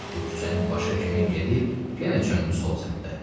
Bu küçəni başa kimi gedib yenə çöndü sol səmtə.